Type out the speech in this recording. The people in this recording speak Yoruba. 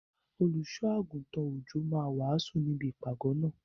Olùṣọ́ -àgùntàn Òjó máa wàásù níbi ìpàgọ́ náà.